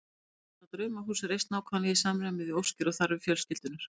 Sannkallað draumahús reist nákvæmlega í samræmi við óskir og þarfir fjölskyldunnar.